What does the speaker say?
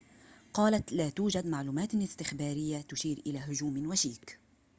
قالت لا توجد معلومات استخبارية تشير إلى هجوم وشيك